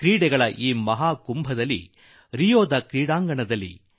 ಈ ಆಟಗಳ ಮಹೋತ್ಸವದಲ್ಲಿ ರಿಯೋ ಸಂಭ್ರಮದಲ್ಲಿ